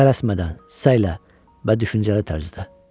Tələsmədən, səylə və düşüncəli tərzdə.